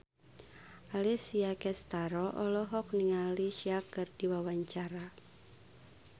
Alessia Cestaro olohok ningali Sia keur diwawancara